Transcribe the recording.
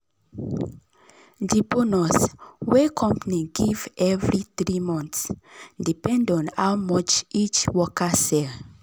the bonus wey company give every 3 months depend on how much each worker sell.